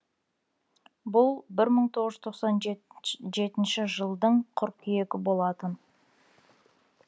бұл бір мығыз жүз тоқсан жетінші жылдың қыркүйегі болатын